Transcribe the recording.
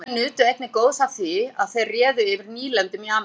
evrópumenn nutu einnig góðs af því að þeir réðu yfir nýlendum í ameríku